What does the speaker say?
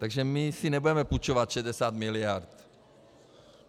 Takže my si nebudeme půjčovat 60 mld.